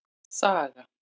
Saga